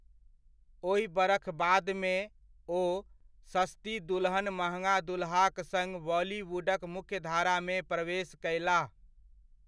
ओहि बरख बादमे, ओ 'सस्ती दुल्हन महँगा दुल्हा' क सङ्ग बॉलीवुडक मुख्यधारा मे प्रवेश कयलाह।